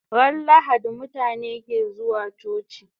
Ran lahadi mutabe ke zuwa coci